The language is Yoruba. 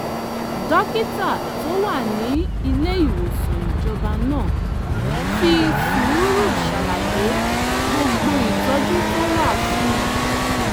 dókítà tó wà ní ilé ìwòsàn ìjọba náà fi sùúrù ṣàlàyé gbogbo ìtọ́jú tó wà fún un